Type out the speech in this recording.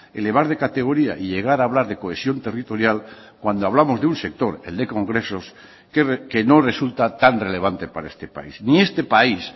elevar de categoría y llegar a hablar de cohesión territorial cuando hablamos de un sector el de congresos que no resulta tan relevante para este país ni este país